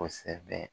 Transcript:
Kosɛbɛ